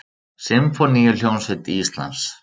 Sinfóníuhljómsveit Íslands.